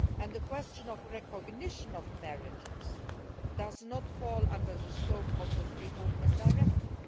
The question of recognition of marriages does not fall within the scope of the Free Movement Directive.